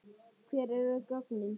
Hver eru gögnin?